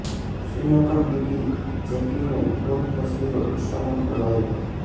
Sri Lankan beauty જેકલીનની bold તસવીરો Instagram પર વાયરલ